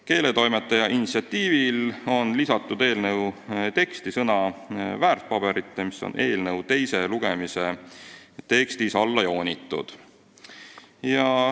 Keeletoimetaja initsiatiivil on lisatud eelnõu teksti sõna "väärtpaberite", mis on eelnõu teise lugemise tekstis alla joonitud.